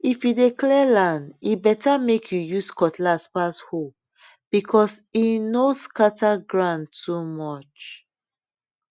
if you dey clear land e better make you use cutlass pass hoe because e no scatter ground too much